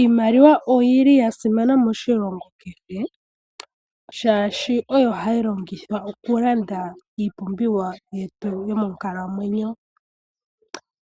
Iimaliwa oyi li ya simana moshilongo kehe shaashi oyo hayi longithwa okulanda iipumbiwa yetu yomonkalamwenyo.